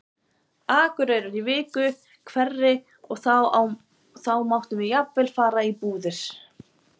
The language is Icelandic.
Akureyrar í viku hverri og þá máttum við jafnvel fara í búðir.